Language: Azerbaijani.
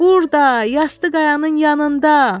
Burda, yastı qayanın yanında.